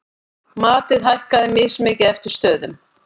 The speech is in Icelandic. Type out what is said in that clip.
Matið hækkar mismikið eftir stöðum.